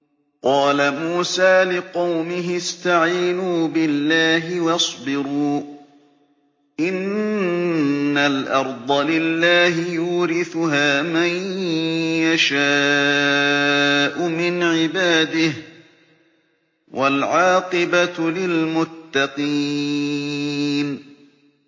قَالَ مُوسَىٰ لِقَوْمِهِ اسْتَعِينُوا بِاللَّهِ وَاصْبِرُوا ۖ إِنَّ الْأَرْضَ لِلَّهِ يُورِثُهَا مَن يَشَاءُ مِنْ عِبَادِهِ ۖ وَالْعَاقِبَةُ لِلْمُتَّقِينَ